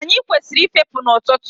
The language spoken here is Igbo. Anyị kwesịrị ị fepụ n'ọtụtụ.